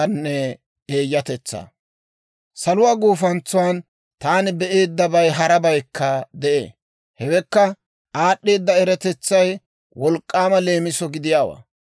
Saluwaa gufantsuwan taani be'eeddabay harabaykka de'ee; hewekka aad'd'eeda eratetsay wolk'k'aama leemiso gidiyaawaa.